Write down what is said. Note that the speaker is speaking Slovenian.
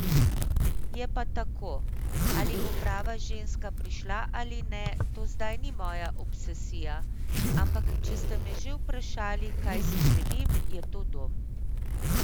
Je pa tako, ali bo prava ženska prišla ali ne, to zdaj ni moja obsesija, ampak če ste me že vprašali, kaj si želim, je to dom.